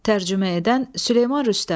Tərcümə edən Süleyman Rüstəm.